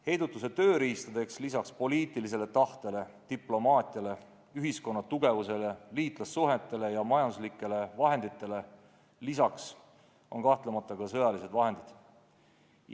Heidutuse tööriistad on lisaks poliitilisele tahtele, diplomaatiale, ühiskonna tugevusele, liitlassuhetele ja majanduslikele vahenditele kahtlemata ka sõjalised vahendid.